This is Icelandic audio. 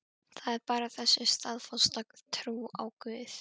Það er bara þessi staðfasta trú á guð.